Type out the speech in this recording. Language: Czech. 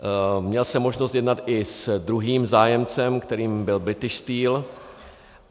Měl jsem možnost jednat i s druhým zájemcem, kterým byl British Steel.